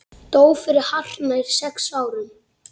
Dó fyrir hartnær sex árum.